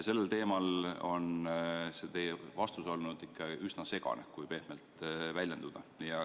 Sellel teemal on teie vastus olnud ikka üsna segane, kui pehmelt väljenduda.